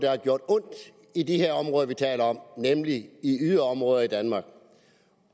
har gjort ondt i de her områder vi taler om nemlig i yderområder i danmark